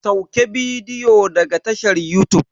Sauke bidiyo daga tashar yutub.